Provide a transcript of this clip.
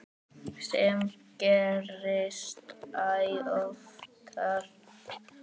Sem gerist æ oftar.